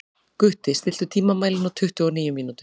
Gutti, stilltu tímamælinn á tuttugu og níu mínútur.